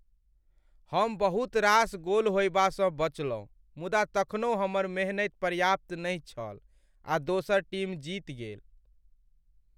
हम बहुत रास गोल होयबासँ बचयलहुँ मुदा तखनहुँ हमर मेहनति पर्याप्त नहि छल आ दोसर टीम जीत गेल।